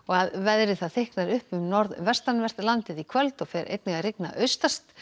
að veðri þykknar upp um norðaustanvert landið í kvöld og fer einnig að rigna austast